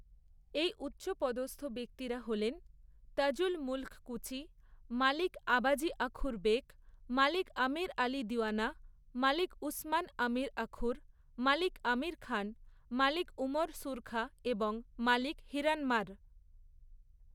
এই উচ্চপদস্থ ব্যক্তিরা হলেন তাজুল মুল্ক কুচি, মালিক আবাজী আখুর বেক, মালিক আমির আলী দিওয়ানা, মালিক উসমান আমির আখুর, মালিক আমির খান, মালিক উমর সুরখা এবং মালিক হিরানমার।